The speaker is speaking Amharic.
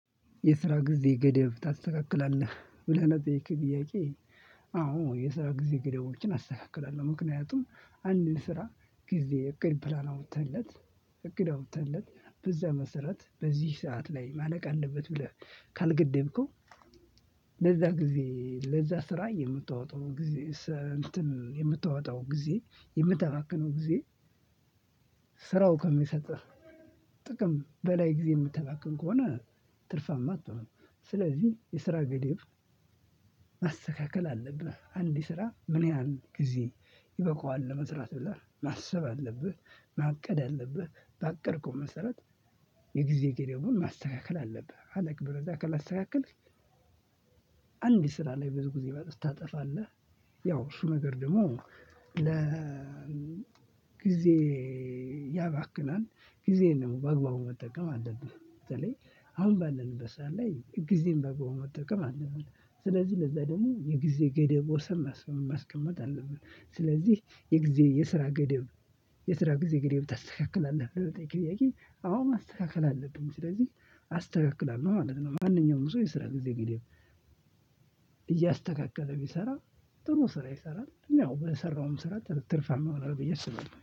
የስራ ጊዜ ገደብ ታስተካክላለህ ብለህ ለጠየከኝ ጥያቄ? አዎ የስራ ጊዜ ገደቦችን አስተካክላለሁ። ምክንያቱም አንድን ስራ ጊዜ እቅድ ፕላን አውጥተንለት እቅድ አውጥተንለት በዛ መሰረት በዚህ ሰዓት ላይ ማለቅ አለበት ብለህ ካልገደብከው። ለዛ ጊዜ ለዛ ስራ የምታወጣው ጊዜ እንትን የምታወጣው ጊዜ የምታባክነው ጊዜ ከሚሰጥህ ጥቅም በላይ ጊዜ የምታባክን ከሆነ ትርፋማ አትሆንም። ስለዚህ የስራ ገደብ ማስተካከል አለብህ። አንድ ስራ ምን? ያህል ጊዜ ይበቃዋል ለመስራት ብለህ ማሰብ አለብህ። ማቀድ አለብህ ባቀድክው መሰረት የግዜ ገደቡውን ማስተካከል አለብህ። አለበለዛ ካላስተካከልክ አንድ ስራ ላይ ብዙ ጊዜ ታጠፋለህ። ያው እሱ ነገር ደግሞ ለ ጊዜ ያባክናል ጊዜ ነው በአግባቡ መጠቀም አለብህ። በተለይ አሁን ባለንበት ሰዕት ላይ ጊዜን በአግባብ መጠቅም አለብን። ስለዚህ ለዛ ደግሞ የጊዜ ገደብ ወሰን ማስቀመጥ አለብን። ስለዚህ የጊዜ የስራ ገደብ የስራ ጊዜ ገደብ ታስተካክላለህ ለሚለው ጥያቄ? አዎ ማስተካከል አለብኝ ስለዚህ አስተካክላለሁ ማለት ነው። ማንኛውም ሰው የስራ ጊዜ ገደብ እያስተካከለ ቢሰራ ጥሩ ስራ ይሰራል ያው በሰራውም ስራ ትርፋማ ይሆናል ብዬ አስባለሁ